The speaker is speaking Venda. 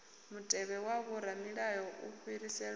mutevhe wa vhoramilayo u fhiriselwa